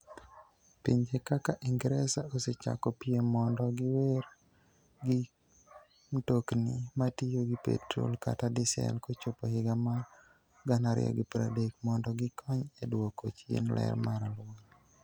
Pinje kaka Ingresa, osechako piem mondo giwere gi mtokni matiyo gi petrol kata diesel kochopo higa mar 2030 mondo gikony e dwoko chien ler mar alwora.